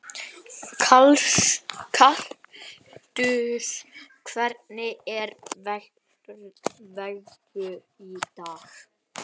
Kaktus, hvernig er veðrið í dag?